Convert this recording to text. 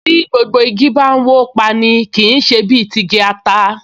Bí gbogbo igi bá n wó pa’ni, kì í ṣe bí ti igi ata